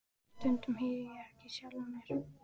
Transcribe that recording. Stundum heyri ég ekki í sjálfum mér.